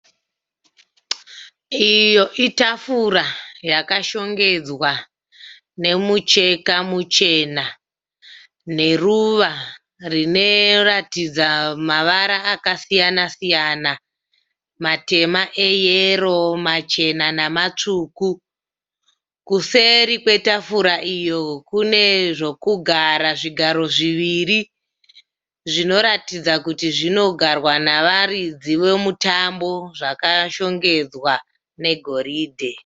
Iyo itafura yakashongedzwa nemucheka muchena neruva rinoratidza mavara akasiyana-siyana matema, eyero machena namatsvuku. Kuseri kwetafura iyo kune zvokugara zvigaro zviviri zvinoratidza kuti zvinogarwa navaridzi vomutambo zvakashongedzwa negoridhe.